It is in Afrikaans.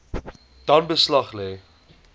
dan beslag lê